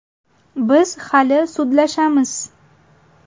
Biz hali sudlashamiz.